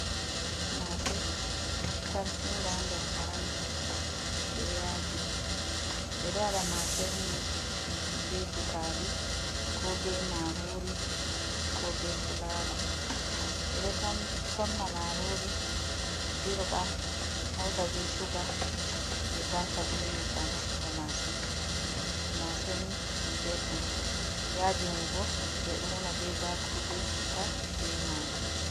Masee tamsinga ha nder paranti be yaaji, be ɗo waɗa masee ni be buutali ko be maarori ko be fuulawa. Ɓe ɗo tam somna maarlri dirɓa hauta be shuuga ɓe tamsa be nyebbam ha feeho maase, maase ni belɗum yaaji mai bo ɓe ɗo una be baakuru be chitta be magi.